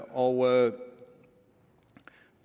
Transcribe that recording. og